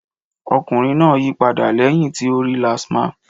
Ọkùnrin náà yí padà lẹ́yìn tí ó rí LASTMA.